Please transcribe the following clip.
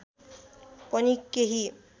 पनि केही